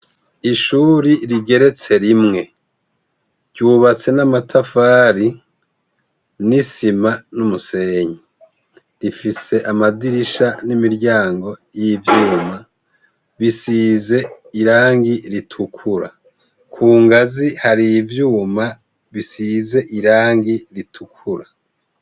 Ishure rigeretse rimwe, ryubatse n'amatafari n'isima n'umusenyi, rifise amadirisha n'imiryango y'ivyuma bisize irangi ritukura, ku ngazi hari ivyuma bisize irangi ritukura.